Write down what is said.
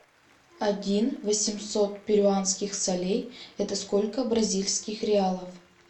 один восемьсот перуанских солей это сколько бразильских реалов